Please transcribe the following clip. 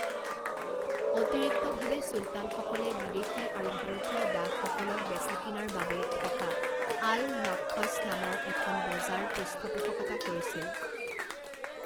অতিৰিক্তভাৱে চুলতানসকলে বিদেশী আৰু ভাৰতীয় দাসসকলক বেচা-কিনাৰ বাবে থকা আল নখ্খছ নামৰ এখন বজাৰ পৃষ্ঠপোষকতা কৰিছিল।